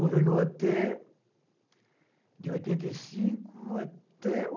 Governou até... De oitenta e cinco até